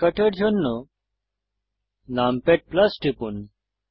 শর্টকাটের জন্য নামপ্যাড টিপুন